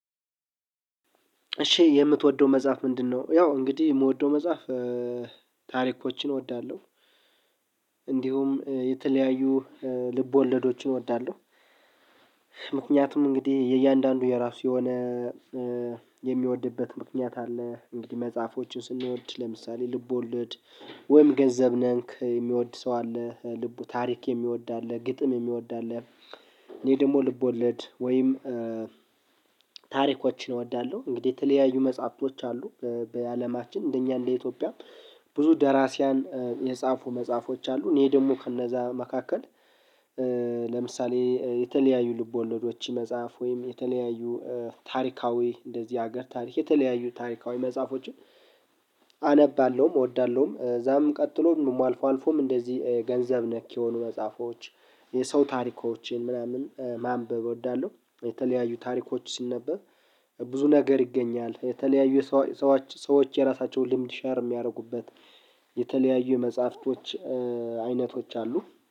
እሺ የምትወደው መጽሐፍ ምንድነው? ያው እንግዲህ የምወደው መጽሐፍ ታሪኮችን እወዳለሁ። እንዲሁም የተለያዩ ልቦለዶችን እወዳለሁ። ምክንያቱም እንግዲህ የእያንዳንዱ የራሱ የሆነ የሚወድበት ምክንያት አለ። እንግዲህ መጽሐፎችን ስንወድ ለምሳሌ ልብ ወለድ ወይም ገንዘብ ነክ የሚወድ ሰው አለ። ልቡ ታሪክ የሚወድ አለ ግጥም የሚወዳለህ። እኔ ደግሞ ልቦለድ ወይም ታሪኮችን እወዳለሁ። እንግዲህ የተለያዩ መጽሐፍቶች አሉ በአለማችን እንደኛ እንደ ኢትዮጵያ ብዙ ደራሲያን የጻፉ መጽሐፎች አሉ። እኔ ደግሞ ከእነዛ መካከል ለምሳሌ የተለያዩ ልቦለዶች መጽሐፍ ወይም የተለያዩ ታሪካዊ እንደዚህ ሀገር ታሪክ የተለያዩ ታሪካዊ መጽሐፎችን አነባለሁም እወዳለሁም። እዛም ቀጥሎ አልፎ አልፎም እንደዚህ ገንዘብ ነክ የሆኑ መጽሐፎች የሰው ታሪኮችን ምናምን ማንበብ እወዳለሁ። የተለያዩ ታሪኮች ሲነበብ ብዙ ነገር ይገኛል። የተለያዩ ሰዎች ሰዎች የራሳቸው ልምድ ሸር የሚያደርጉበት የተለያዩ መጽሐፍቶች አይነቶች አሉ